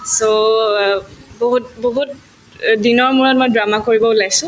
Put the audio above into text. so, অ বহুত বহুত দিনৰ মূৰত মই drama কৰিব ওলাইছো